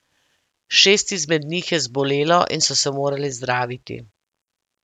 Šest izmed njih je zbolelo in so se morali zdraviti.